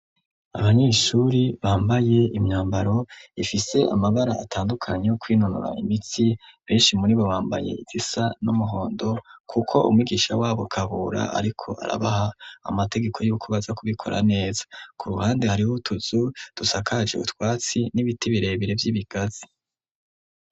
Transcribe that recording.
Abanyeshuri bambaye imyambaro ifise amabara atandukanye yo kwinonora imitsi. Benshi muri bo, bambaye izisa n'umuhondo kuko umwigisha w'abo Kabura ariko arabaha amategeko y'uko baza kubikora neza. K'uruhande, hariho utuzu dusakaje utwatsi n'ibiti birebire vy'ibigazi.